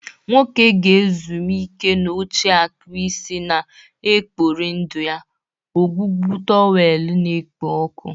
Nwoke ga-ezumike n'oche-akpụ isi na-ekpori ndụ na ọgwụgwọ towel na-ekpo ọkụ.